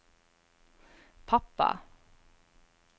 pappa